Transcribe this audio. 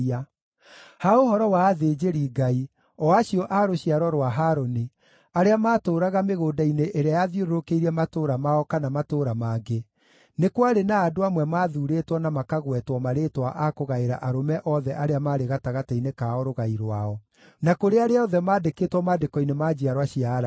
Ha ũhoro wa athĩnjĩri-Ngai, o acio a rũciaro rwa Harũni, arĩa maatũũraga mĩgũnda-inĩ ĩrĩa yathiũrũrũkĩirie matũũra mao kana matũũra mangĩ, nĩ kwarĩ na andũ amwe maathuurĩtwo na makagwetwo marĩĩtwa a kũgaĩra arũme othe arĩa maarĩ gatagatĩ-inĩ kao rũgai rwao, na kũrĩ arĩa othe maandĩkĩtwo maandĩko-inĩ ma njiarwa cia Alawii.